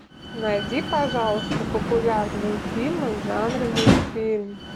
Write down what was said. найди пожалуйста популярные фильмы в жанре мультфильм